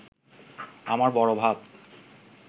আমার বড় ভাব